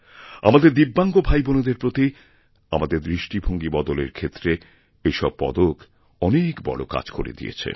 আমাদের দিব্যাঙ্গ ভাইবোনেদের প্রতি আমাদেরদৃষ্টিভঙ্গী বদলের ক্ষেত্রে এই সব পদক অনেক বড় কাজ করে দিয়েছে